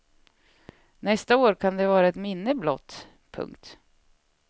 Nästa år kan de vara ett minne blott. punkt